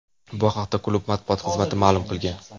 Bu haqda klub matbuot xizmati ma’lum qilgan.